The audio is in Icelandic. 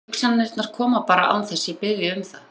Hugsanirnar koma bara án þess að ég biðji um það.